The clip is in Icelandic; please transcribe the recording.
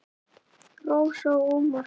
Rósa og Ómar.